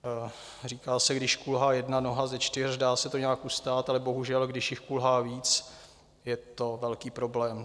Říká se, když kulhá jedna noha ze čtyř, dá se to nějak ustát, ale bohužel když jich kulhá víc, je to velký problém.